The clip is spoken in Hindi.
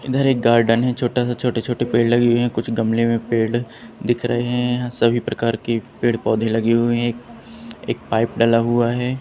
इधर एक गार्डन है छोटा सा छोटे-छोटे पेड़ लगी हुई है कुछ गमले में पेड़ दिख रहे हैं यहां सभी प्रकार की पेड़ पौधे लगे हुए हैं एक पाइप डला हुआ है।